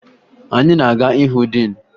Anyị na-aga ịhụ diin